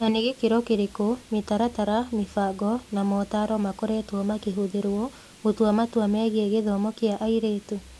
Nĩ na gĩkĩro kĩrĩkũ mĩtaratara, mĩbango, na motaaro makoretwo makĩhũthĩrũo gũtua matua megiĩ gĩthomo kĩa airĩtu?